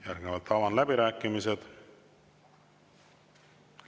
Järgnevalt avan läbirääkimised.